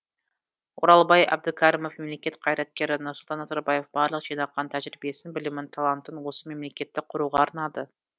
оралбай әбдікәрімов мемлекет қайраткері нұрсұлтан назарбаев барлық жинаған тәжірибесін білімін талантын осы мемлекетті құруға арнады